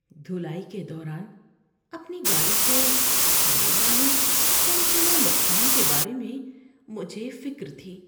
دھلائی کے دوران اپنی گاڑی کو ہونے والے ممکنہ نقصان کے بارے میں مجھے فکر تھی۔